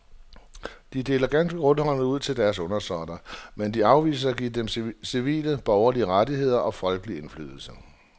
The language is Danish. De deler ganske rundhåndet ud til deres undersåtter, mens de afviser at give dem civile borgerlige rettigheder og folkelig indflydelse.